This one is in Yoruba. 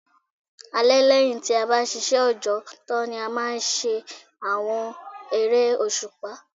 Alẹ́ lẹ́yìn tí a bá ṣiṣẹ́ òjọ́ tán ni a máa ń ṣe àwọn eré òṣùpá